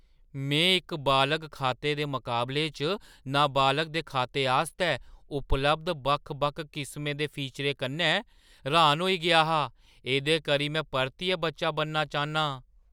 मैं इक बालग खाते दे मकाबले च नाबालग दे खाते आस्तै उपलब्ध बक्ख-बक्ख किसमें दे फीचरें कन्नै र्‌हान होई गेआ हा। एह्दे करी में परतियै बच्चा बनना चाह्न्नां।